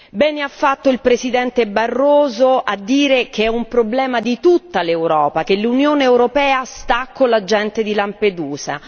Bene ha fatto il Presidente Barroso a dire che è un problema di tutta l'Europa, che l'Unione europea sta con la gente di Lampedusa.